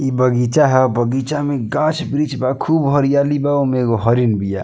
इ बगीचा ह बगिचा में गाछ-वृक्ष बा खूब हरियाली बा ओमें ऐगो हरीन बिया।